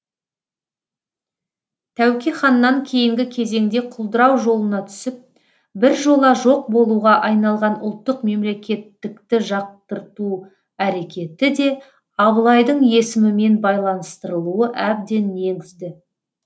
тәуке ханнан кейінгі кезеңде құлдырау жолына түсіп біржола жоқ болуға айналған ұлттық мемлекеттікті жақтырту әрекеті де абылайдың есімімен байланыстырылуы әбден негізді